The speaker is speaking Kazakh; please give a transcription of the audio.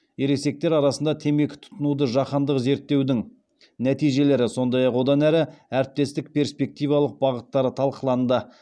ересектер арасында темекі тұтынуды жаһандық зерттеудің нәтижелері сондай ақ одан әрі әріптестіктің перспективалық бағыттары талқыланды